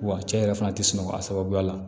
Wa cɛ yɛrɛ fana tɛ sunɔgɔ a sababuya la